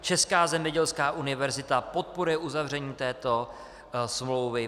Česká zemědělská univerzita podporuje uzavření této smlouvy.